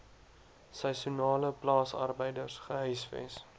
seisoenale plaasarbeiders gehuisves